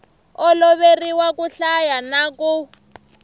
oloveriwa ku hlaya na ku